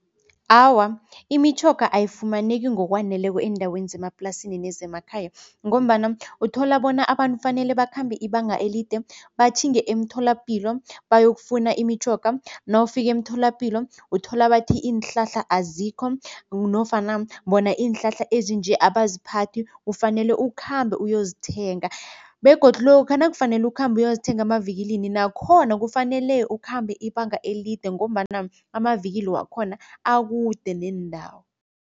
Awa, imitjhoga ayifumaneki ngokwaneleko eendaweni zeemaplasini nezemakhaya ngombana uthola bona abantu fanele bakhambe ibanga elide batjhinge emtholapilo bayokufuna imitjhoga. Nawufika emtholapilo, uthola bathi iinhlahla azikho nofana bona iinhlahla ezinje abaziphathi ufanele ukukhambe uyozithenga begodu lokha nakufanele ukhamba uyozithenga emavikilini nakhona kufanele ukhambe ibanga elide ngombana amavikili wakhona akude neendawo.